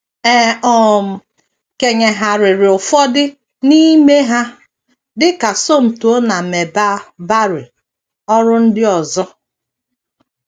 E um kenyegharịrị ụfọdụ n’ime ha, dị ka Somto na Melba Barry, ọrụ ndị ọzọ.